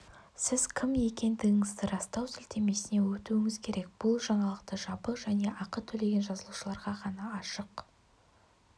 сіз кім екендігіңізді растау сілтемесіне өтуіңіз керек бұл жаңалық жабық және ақы төлеген жазылушыларға ғана ашық